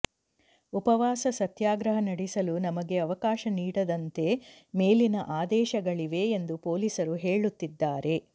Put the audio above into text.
ಉಪವಾಸ ಸತ್ಯಾಗ್ರಹ ನಡೆಸಲು ನಮಗೆ ಅವಕಾಶ ನೀಡದಂತೆ ಮೇಲಿನ ಆದೇಶಗಳಿವೆ ಎಂದು ಪೊಲೀಸರು ಹೇಳುತ್ತಿದ್ದಾರೆ